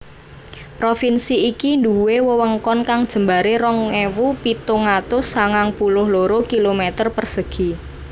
Provinsi iki nduwé wewengkon kang jembaré rong ewu pitung atus sangang puluh loro kilometer persegi